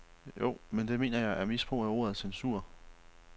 Jo, men det mener jeg er misbrug af ordet censur.